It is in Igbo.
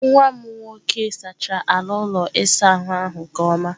Nwa m nwoke sachara ala ụlọ ịsa ahụ nke ọma.